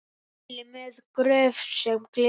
Mæli með Gröf sem gleður.